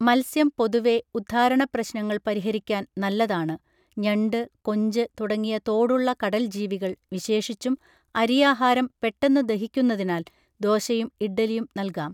മത്സ്യം പൊതുവേ ഉദ്ധാരണപ്രശ്നങ്ങൾ പരിഹരിക്കാൻ നല്ലതാണ് ഞണ്ട് കൊഞ്ച് തുടങ്ങിയ തോടുള്ള കടൽ ജീവികൾ വിശേഷിച്ചും അരിയാഹാരം പെട്ടെന്നു ദഹിക്കുന്നതിനാൽ ദോശയും ഇഡ്ഡലിയും നൽകാം